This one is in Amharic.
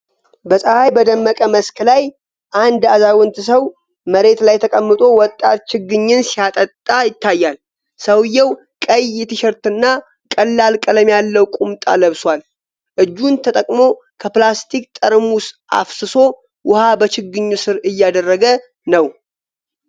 በፀሐይ በደመቀ መስክ ላይ፣ አንድ አዛውንት ሰው መሬት ላይ ተቀምጦ ወጣት ችግኝን ሲያጠጣ ይታያል። ሰውየው ቀይ ቲሸርት እና ቀላል ቀለም ያለው ቁምጣ ለብሷል። እጁን ተጠቅሞ ከፕላስቲክ ጠርሙስ አፍስሶ ውሃ በችግኙ ሥር እያደረገ ነው።